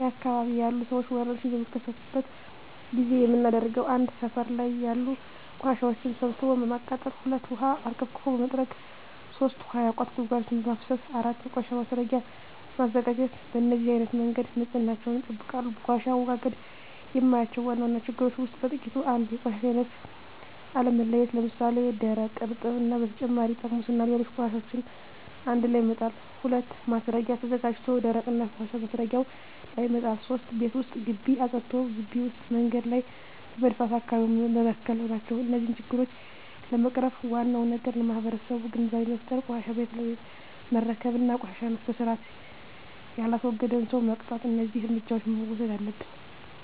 እኛ አካባቢ ያሉ ሠዎች ወርሽኝ በሚከሰትበት ጊዜ የምናደርገው 1. ሠፈር ላይ ያሉ ቆሻሻዎችን ሠብስቦ በማቃጠል 2. ውሀ አርከፍክፎ በመጥረግ 3. ውሀ ያቋቱ ጉድጓዶችን በማፋሠስ 4. የቆሻሻ ማስረጊያ በማዘጋጀት በነዚህ አይነት መንገድ ንፅህናቸውን ይጠብቃሉ። በቆሻሻ አወጋገድ የማያቸው ዋና ዋና ችግሮች ውስጥ በጥቂቱ 1. የቆሻሻ አይነት አለመለየት ለምሣሌ፦ ደረቅ፣ እርጥብ እና በተጨማሪ ጠርሙስና ሌሎች ቆሻሻዎችን አንድላይ መጣል። 2. ማስረጊያ ተዘጋጅቶ ደረቅና ፈሣሽ ማስረጊያው ላይ መጣል። 3. ቤት ወይም ግቢ አፅድቶ ግቢ ውጭ መንገድ ላይ በመድፋት አካባቢውን መበከል ናቸው። እነዚህን ችግሮች ለመቅረፍ ዋናው ነገር ለማህበረሠቡ ግንዛቤ መፍጠር፤ ቆሻሻን ቤት ለቤት መረከብ እና ቆሻሻን በስርአት የላስወገደን ሠው መቅጣት። እደዚህ እርምጃዎች መውሠድ አለብን።